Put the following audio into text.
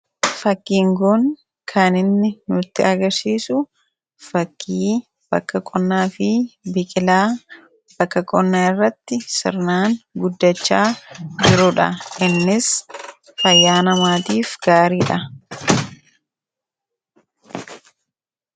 Fakkiiin kun kan inni nutti agarsiisu fakkii bakka qonnaa fi biqilaa bakka qonnaa irratti sirnaan guddachaa jiruudha innis fayyaa namaatiif gaariidha.